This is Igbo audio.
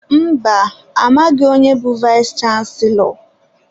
Mba, amaghị onye bụ vayis chansilọ.